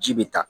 Ji bɛ taa